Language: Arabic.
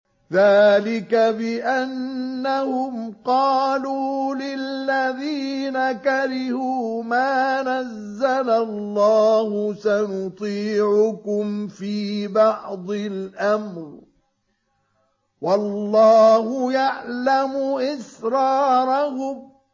ذَٰلِكَ بِأَنَّهُمْ قَالُوا لِلَّذِينَ كَرِهُوا مَا نَزَّلَ اللَّهُ سَنُطِيعُكُمْ فِي بَعْضِ الْأَمْرِ ۖ وَاللَّهُ يَعْلَمُ إِسْرَارَهُمْ